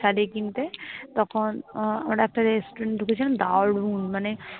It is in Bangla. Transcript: সেই শাড়ি কিনতে তখন একটা restaurant ঢুকেছিলাম দারুন মানে